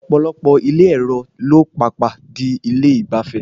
Ọ̀pọ̀lọpọ̀ ilé èro ló pàpà di ilé ìgbafẹ́.